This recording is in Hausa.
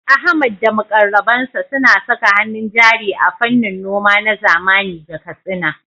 Ahmad da muƙarrabansa suna saka hannun jari a fannin noma na zamani ga Katsina.